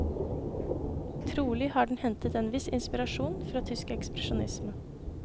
Trolig har den hentet en viss inspirasjon fra tysk ekspresjonisme.